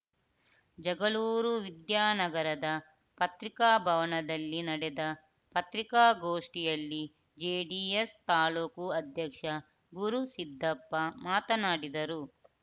ಜಗಳೂರು ವಿದ್ಯಾನಗರದ ಪತ್ರಿಕಾ ಭವನದಲ್ಲಿ ನಡೆದ ಪತ್ರಿಕಾಗೋಷ್ಠಿಯಲ್ಲಿ ಜೆಡಿಎಸ್‌ ತಾಲೂಕು ಅಧ್ಯಕ್ಷ ಗುರುಸಿದ್ದಪ್ಪ ಮಾತನಾಡಿದರು